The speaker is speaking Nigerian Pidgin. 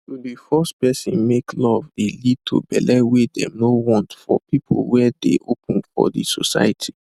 to de force person make love de lead to belle wey them no want for people were dey open for de society